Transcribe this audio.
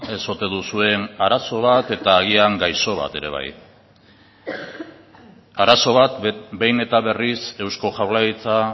ez ote duzuen arazo bat eta agian gaixo bat ere bai arazo bat behin eta berriz eusko jaurlaritza